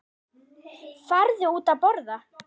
Farðu út að borða.